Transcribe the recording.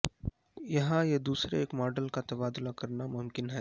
یہاں یہ دوسرے ایک ماڈل کا تبادلہ کرنا ممکن ہے